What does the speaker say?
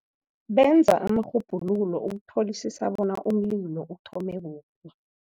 Benza amarhubhululo ukutholisisa bona umlilo uthome kuphi.